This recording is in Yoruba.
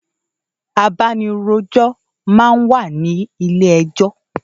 Àbánirójò má n wá ni ilé èjò